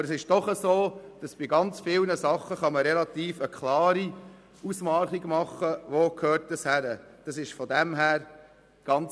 Aber bei sehr vielen Dingen lässt sich klar erkennen, wo es hingehört.